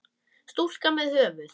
Stúlka með höfuð.